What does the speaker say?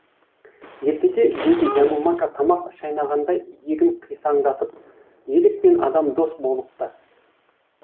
ертеде дейді янумака тамақ шайнағандай иегін қисаңдатып елік пен адам дос болыпты